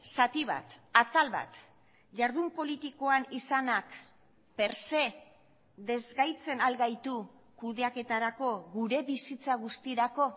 zati bat atal bat jardun politikoan izanak per se desgaitzen al gaitu kudeaketarako gure bizitza guztirako